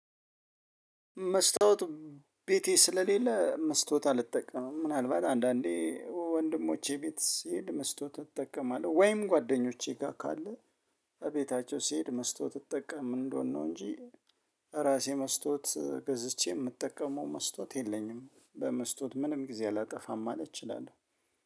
መስታወት ቤቴ ስለሌለ መስታወት አልጠቀምም ምናልባት አንዳንዴ ወንድሞቼ ቤት ሲሄድ መስቶ ተጠቀማለሁ። ወይም ጓደኞቼ ጋር ካለ እቤታቸው ሲሄድ መስቶ ተጠቀም እንደሆነ ነው። እንጂ ራሴ መስቶት ገዝቼ የምጠቀመው መስቶት የለኝም። በመስቶት ምንም ጊዜ አላጠፋም አለች እላለሁ